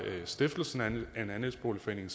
stiftelsen af en andelsboligforening